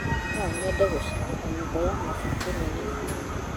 No nyende gũcerera nyũmba ya mabuku nene biũ.